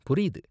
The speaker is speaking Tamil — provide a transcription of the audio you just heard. புரியுது.